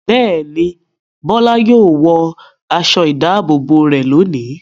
Bẹ́ẹ̀ ni, Bọ́lá yóò wọ aṣọ-ìdáàbòbò rẹ̀ lónìí.